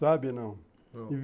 Sabe? não? Não!